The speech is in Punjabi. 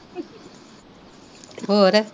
ਹੋਰ